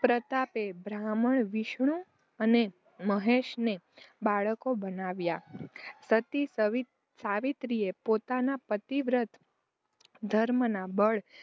પ્રતાપે બ્રહ્મા, વિષ્ણુ અને મહેશને બાળકો બનાવ્યા. સતી સવિત સાવિત્રીએ પોતાના પતિવ્રત ધર્મના બળ